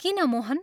किन, मोहन?